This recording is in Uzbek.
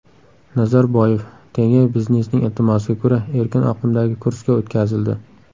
Nazarboyev: Tenge biznesning iltimosiga ko‘ra, erkin oqimdagi kursga o‘tkazildi.